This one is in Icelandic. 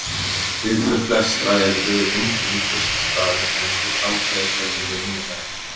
Viðbrögð flestra eru undrun fyrst í stað en svo samgleðjast þeir henni innilega.